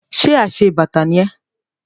Ṣe aṣebàtà ni ẹ́?